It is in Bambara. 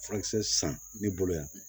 Furakisɛ san ne bolo yan